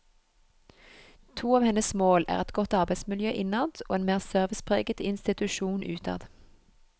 To av hennes mål er et godt arbeidsmiljø innad og en mer servicepreget institusjon utad.